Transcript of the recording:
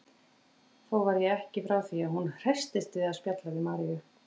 Þó var ég ekki frá því að hún hresstist við að spjalla við Maríu.